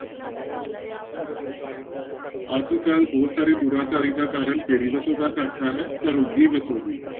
ਅੱਜ ਕੱਲ੍ਹ ਬਹੁਤ ਸਾਰੇ ਦੁਰਾਚਾਰੀ ਦਾ ਕਾਰਨ ਕਿਹੜੀ ਵਸੋਂ ਦਾ ਘਾਟਾ ਹੈ, ਘਰੋਗੀ ਵਸੋਂ ਦੀ।